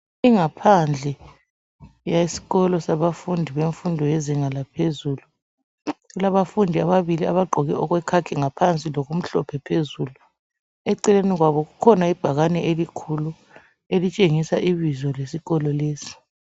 Ingaphandle yesikolo sabafundi bemfundo yezinga laphezulu. Kulabafundi ababili abagqoke okwekhakhi ngaphandi lokumhlophe phezulu eceleni kwabo kukhona ibhakane elikhulu elitshengisa ibizo lesikolo lesi.